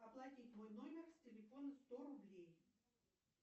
оплатить мой номер с телефона сто рублей